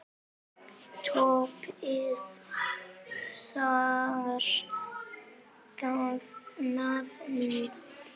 Toppið það nafn!